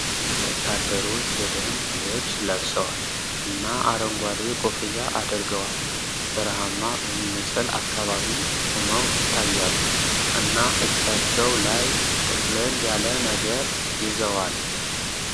ወታደሮች የደንብ ልብስ ለብሰዋል እና አረንጓዴ ኮፍያ አድርገዋል ። በረሃማ በሚመስል አካባቢ ቆመው ይታያሉ፣ እና እጃቸው ላይ ጥቅልል ያለ ነገር ይዘዋል ።